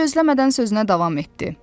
Gözləmədən sözünə davam etdi.